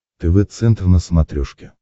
тв центр на смотрешке